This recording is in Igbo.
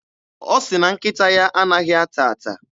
Ọ sị na nkịta ya anaghị ata ata.